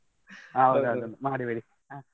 ಹೌದವ್ದ್ ಮಾಡಿಬಿಡಿ.